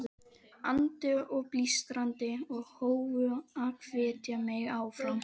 andi og blístrandi, og hófu að hvetja mig áfram.